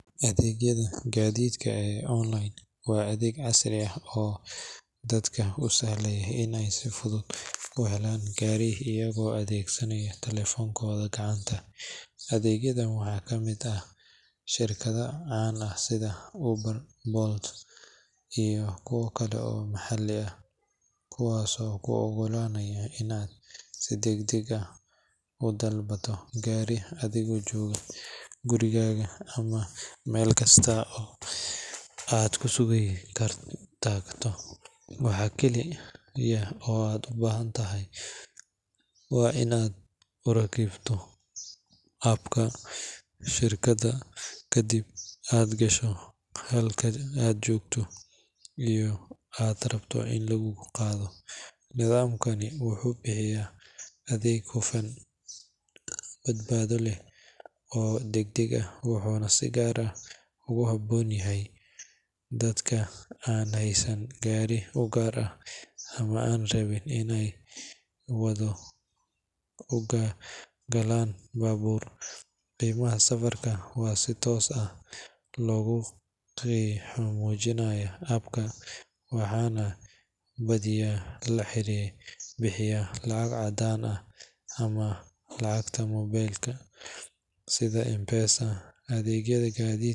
Adeegyada gaadiidka ee online waa adeegyo casri ah oo dadka u sahlaya in ay si fudud u helaan gaari iyagoo adeegsanaya taleefankooda gacanta. Adeegyadan waxaa ka mid ah shirkado caan ah sida Uber, Bolt, iyo kuwa kale oo maxalli ah, kuwaasoo kuu oggolaanaya in aad si degdeg ah u dalbato gaari adigoo jooga gurigaaga ama meel kasta oo aad ku sugan tahay. Waxa kaliya oo aad u baahan tahay waa in aad ku rakibto app-ka shirkadda, kadibna aad gasho halka aad joogto iyo halka aad rabto in laguu qaado. Nidaamkani wuxuu bixiyaa adeeg hufan, badbaado leh oo degdeg ah, wuxuuna si gaar ah ugu habboon yahay dadka aan haysan gaari u gaar ah ama aan rabin inay wado u galaan baabuur. Qiimaha safarka waxaa si toos ah loogu muujinayaa app-ka, waxaana badiyaa la bixiyaa lacag caddaan ah ama lacagta mobile sida M-Pesa. Adeegyada gaadiidka.